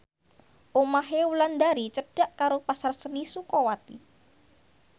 omahe Wulandari cedhak karo Pasar Seni Sukawati